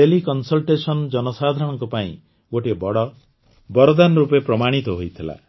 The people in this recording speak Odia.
ଟେଲିକନ୍ସଲ୍ଟେଶନ୍ ଜନସାଧାରଣଙ୍କ ପାଇଁ ଗୋଟିଏ ବଡ଼ ବରଦାନ ରୂପେ ପ୍ରମାଣିତ ହୋଇଥିଲା